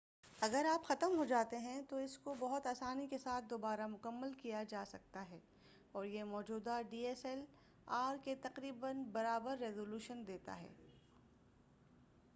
اگر آپ ختم ہو جاتے ہیں تو اس کو بہت آسانی کے ساتھ دوبارہ مکمل کیا جاسکتا ہے اور یہ موجودہ ڈی ایس ایل آر کے تقریبا برابر ریزو لیوشن دیتا ہے